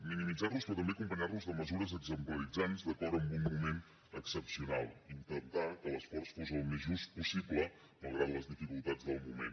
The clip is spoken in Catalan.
minimitzar los però també acompanyar los de mesures exemplaritzants d’acord amb un moment excepcional i intentar que l’esforç fos al més just possible malgrat les dificultats del moment